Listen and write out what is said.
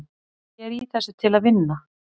Ég er í þessu til að vinna.